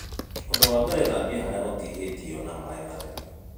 ũndũ wa mbere, thambia harĩa ũtihĩtio na maĩ matheru